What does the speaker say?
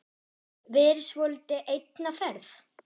Verið svolítið einn á ferð?